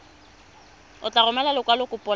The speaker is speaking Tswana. o tla romela lekwalokopo la